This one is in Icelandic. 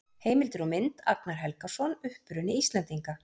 Heimildir og mynd: Agnar Helgason: Uppruni Íslendinga.